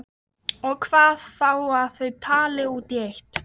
Og það er þá ekkert skárra þar með kýrnar?